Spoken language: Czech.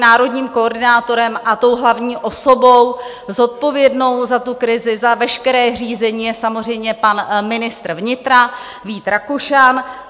Národním koordinátorem a tou hlavní osobou zodpovědnou za tu krizi, za veškeré řízení, je samozřejmě pan ministr vnitra Vít Rakušan.